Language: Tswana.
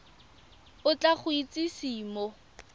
o tla go itsise mo